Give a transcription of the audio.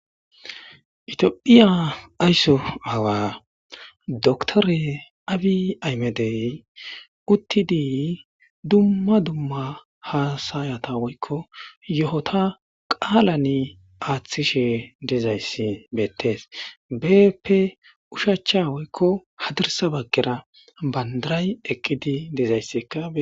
itiophiya aysso awa doktore abi aymedey uttidii dumma dumma haasayata woykko yo7ota qaalane aaththishe dezayssi bettes beeppe ushacha woykko hadirsa baggera bandaray eqqidi dezaysseka